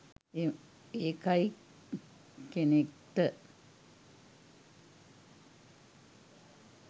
ඒකයි කෙනෙක්ට